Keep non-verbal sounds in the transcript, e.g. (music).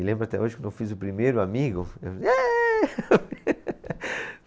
E lembro até hoje quando eu fiz o primeiro amigo. Eu fiz Êêê (laughs)